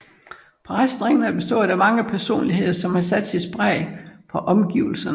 Præsterækken har bestået af mange personligheder som har sat sit præg på omgivelsene